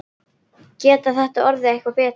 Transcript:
Getur þetta orðið eitthvað betra?